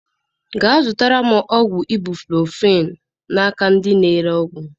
Ga zụta ọgwụ ibuprofen na nke ndị na ere ọgwụ